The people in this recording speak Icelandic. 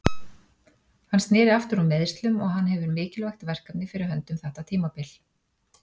Hann sneri aftur úr meiðslum og hann hefur mikilvægt verkefni fyrir höndum þetta tímabil.